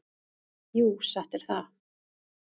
Jú, satt er það.